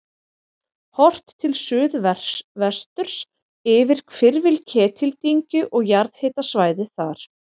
Horft til suðvesturs yfir hvirfil Ketildyngju og jarðhitasvæðið þar.